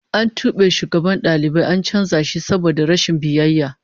An tube shugaban dalibai an canza shi saboda rashin biyayya